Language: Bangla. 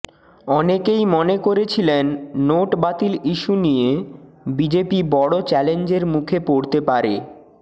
অনেকেই মনে করেছিলেন নোট বাতিল ইস্যু নিয়ে বিজেপি বড় চ্যালেঞ্জের মুখে পড়তে পারে